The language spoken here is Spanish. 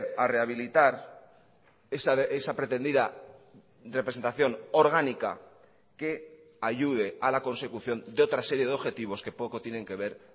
a rehabilitar esa pretendida representación orgánica que ayude a la consecución de otra serie de objetivos que poco tienen que ver